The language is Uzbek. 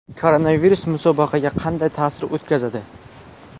Koronavirus musobaqaga qanday ta’sir o‘tkazadi?